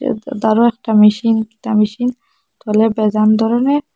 বড় একটা মেশিন একটা মেশিন ধরনের।